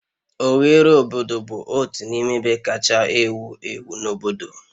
Oghere obodo bụ otu n'ime ebe kacha ewu ewu na obodo